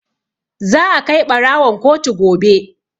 Za a kai ɓarawon kotu gobe.